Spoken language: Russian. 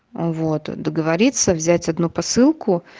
вот договориться взять одну посылку